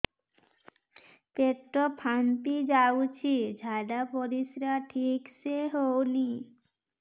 ପେଟ ଫାମ୍ପି ଯାଉଛି ଝାଡ଼ା ପରିସ୍ରା ଠିକ ସେ ହଉନି